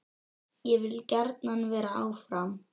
Ég vil gjarnan vera áfram.